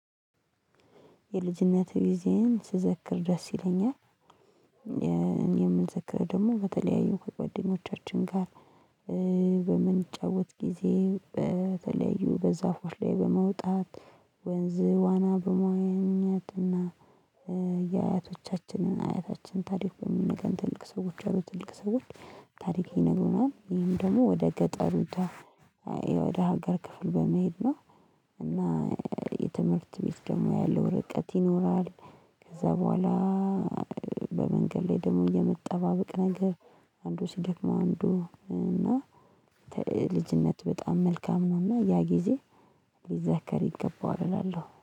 የልጅነት ጊዜየን ስዘክር ደስ ይለኛል። የምንዘክረው ደግሞ በተለያዩ ከጓደኞቻችን ጋር። በምንጫወት ጊዜ በተለያዩ በዛፎች ላይ በመውጣት። ወንዝ ዋና በመዋኘት እና የአያቶቻችንን አያታችን ታሪክ በሚነገረን ትልቅ ሰዎች አሉ ትልቅ ሰዎች ታሪክ ይነግሩናል። ይሄም ደግሞ ወደ ገጠሪቷ ወደ ሀገር ክፍል በመሄድ ነው። እና የትምህርት ቤት ደግሞ ያለው ርቀት ይኖራል። ከዛ በኋላ። በመንገድ ላይ ደግሞ የመጠባብቅ ነገር። አንዱ ሲደክመው አንዱ እና ልጅነት በጣም መልካም ነው። እና ያ ጊዜ ሊዘከር ይገባዋል እላለሁ